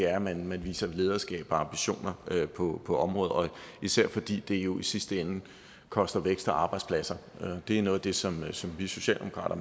er at man viser lederskab og ambitioner på på området især fordi det jo i sidste ende koster vækst og arbejdspladser det er noget af det som vi socialdemokrater